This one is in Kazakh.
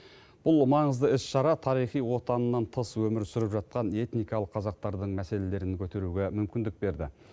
бұл маңызды іс шара тарихи отанынан тыс өмір сүріп жатқан этникалық қазақтардың мәселелерін көтеруге мүмкіндік берді